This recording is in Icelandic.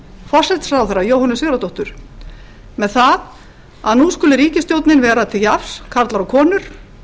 forsætisráðherra jóhönnu sigurðardóttur með það að nú sæti ríkisstjórnin vera til jafns karlar og konur